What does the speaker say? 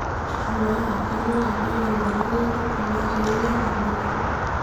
amaa iyiolo ajo wore emeloni e nchugu naa teninya nabo nabo